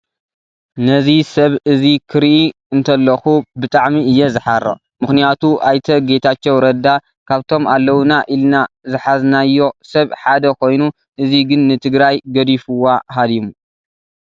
ነዚ ሰብ እዚ ክሪኢ እትለኩ ብጣዕሚ እየ ዝሓርቅ ምክንያቱ ኣይተ ጌታቸው ረዳ ካብቶም ኣለውና ኢልና ዝሓዝናዮ ሰብ ሓደ ኮይኑ ሕዚ ግን ንትግራይ ገዲፉዋ ሃዲሙ።